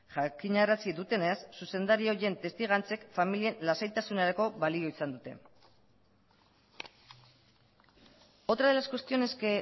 jakinarazi dutenez zuzendari horien testigantzek familien lasaitasunerako balio izan dute otra de las cuestiones que